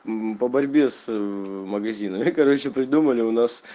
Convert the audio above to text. по борьбе с магазина и короче придумали у вас